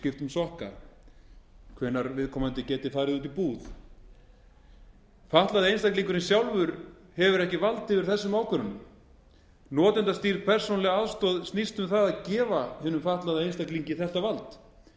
sokka hvenær viðkomandi geti farið út í búð fatlaði einstaklingurinn sjálfur hefur ekki vald yfir þessum ákvörðunum notendastýrð persónuleg aðstoð snýst um það að gefa hinum fatlaða einstaklingi þetta